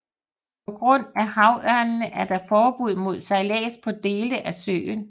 På grund af havørnene er der forbud mod sejlads på dele af søen